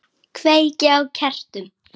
Kveiki á kertum.